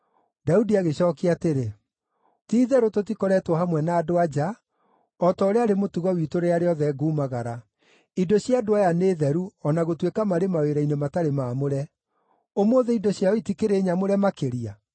Daudi agĩcookia atĩrĩ, “Ti-itherũ tũtikoretwo hamwe na andũ-a-nja, o ta ũrĩa arĩ mũtugo witũ rĩrĩa rĩothe ngumagara. Indo cia andũ aya nĩ theru o na gũtuĩka marĩ mawĩra-inĩ matarĩ maamũre. Ũmũthĩ indo ciao itikĩrĩ nyamũre makĩria!”